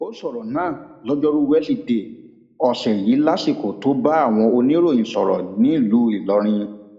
ó sọrọ náà lojoruu weside ọsẹ yìí lásìkò tó bá àwọn oníròyìn sọrọ nílùú ìlọrin